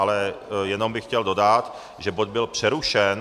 Ale jenom bych chtěl dodat, že bod byl přerušen.